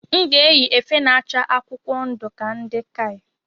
M ga-eyi efe na-acha akwụkwọ ndu ka ndi KAI